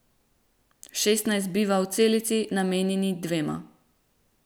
Šest nas biva v celici, namenjeni dvema.